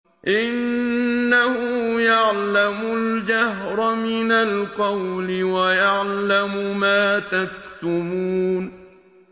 إِنَّهُ يَعْلَمُ الْجَهْرَ مِنَ الْقَوْلِ وَيَعْلَمُ مَا تَكْتُمُونَ